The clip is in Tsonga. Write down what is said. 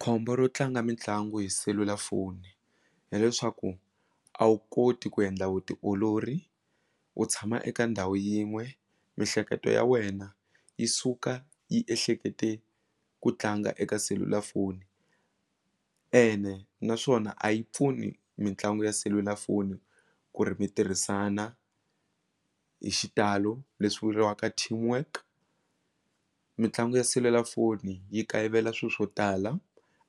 Khombo ro tlanga mitlangu hi selulafoni hileswaku a wu koti ku endla vutiolori u tshama eka ndhawu yin'we mihleketo ya wena yi suka yi ehlekete ku tlanga eka selulafoni ene naswona a yi pfuni mitlangu ya selulafoni ku ri mi tirhisana hi xitalo leswi vuriwaka team work mitlangu ya selulafoni yi kayivela swilo swo tala